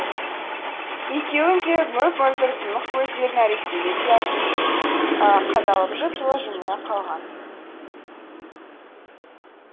екеуінің де мөп мөлдір тұнық көздері нәрестеге риясыз қадалып жып жылы жымия қалған